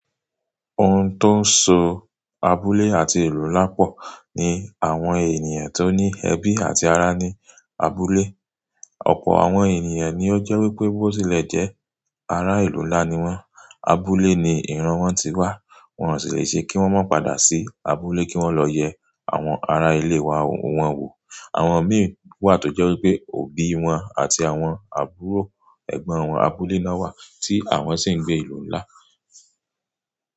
Ohun tó ń so abúlé àti ìlú nlá pọ̀ ni àwọn ènìyàn tó ní ẹbí àti ará ní abúlé. Ọ̀pọ̀ àwọn ènìyàn ni ó jẹ́ wípé bó tilẹ̀ jẹ́ ará ìlú ńlá ni wọ́n, abúlé ni ìran wọn ti wá, wọn ó sì le ṣe kí wọ́n má pàdà sí abúlé kí wọ́n lọ yẹ àwọn ará ilé wa wọn wò. Àwọn mìi wà tó jẹ́ wípé òbí wọn àti àwọn àbúrò ẹgbẹ́ wọn, abúlé náà wà tí àwọn sì ń gbé ìlú ńlá.